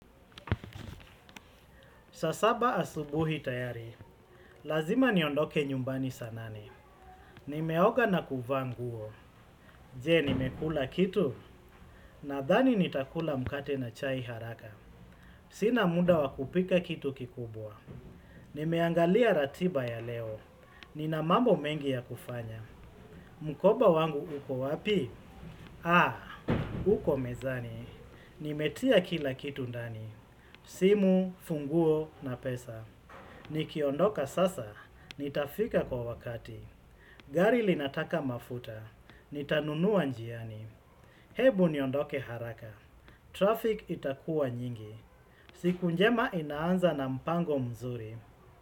Saa saba asubuhi tayari, lazima niondoke nyumbani saa nane. Nimeoga na kuvaa nguo, je nimekula kitu, nadhani nitakula mkate na chai haraka. Sina muda wakupika kitu kikubwa. Nimeangalia ratiba ya leo, nina mambo mengi ya kufanya. Mkoba wangu uko wapi? Haa, uko mezani. Nimetia kila kitu ndani, simu, funguo na pesa. Nikiondoka sasa, nitafika kwa wakati. Gari linataka mafuta, nitanunua njiani. Hebu niondoke haraka. Traffic itakua nyingi. Siku njema inaanza na mpango mzuri.